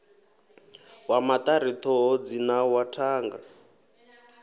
wa maṱari thoro dzinawa thanga